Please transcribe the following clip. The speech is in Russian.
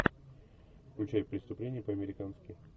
включай преступление по американски